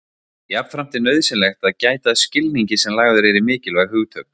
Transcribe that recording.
Jafnframt er nauðsynlegt að gæta að skilningi sem lagður er í mikilvæg hugtök.